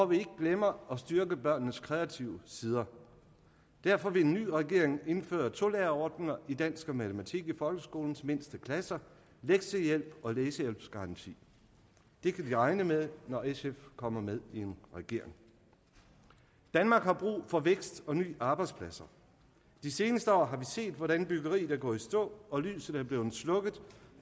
vi ikke glemmer at styrke børnenes kreative sider derfor vil en ny regering indføre tolærerordninger i dansk og matematik i folkeskolens mindste klasser lektiehjælp og læsehjælpsgaranti det kan vi regne med når sf kommer med i en regering danmark har brug for vækst og nye arbejdspladser de seneste år har vi set hvordan byggeriet er gået i stå og lyset er blevet slukket